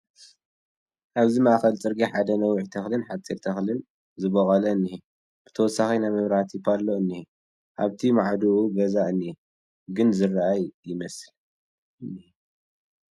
ኣብዚ ማእኸል ፅርግያ ሓደ ነዊሕ ተኽልን ሓደ ሓፂር ተኽልን ዝቦቖለ እንሄ፡ ብተወሳኺ ናይ መብራህቲ ፓሎ እንሄዎ፡ ኣብቲ ማዕዱኡ ገዛ እንኤ ግን ዝኣረገ ይመስል ።